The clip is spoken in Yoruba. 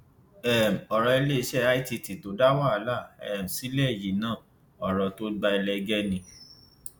um ọrọ iléeṣẹ cs] itt tó dá wàhálà um sílẹ yìí náà ọrọ tó gba ẹlẹgẹ ni